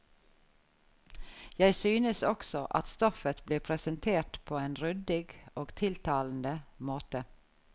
Jeg synes også at stoffet blir presentert på en ryddig og tiltalende måte.